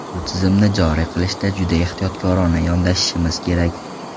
Bu tizimni joriy qilishda juda ehtiyotkorona yondashishimiz kerak.